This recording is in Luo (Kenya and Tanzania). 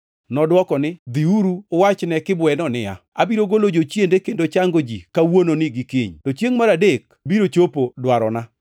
Nodwoko ni, “Dhiuru uwach ne kibweno niya, ‘Abiro golo jochiende kendo chango ji kawuononi gi kiny, to chiengʼ mar adek abiro chopo dwarona.’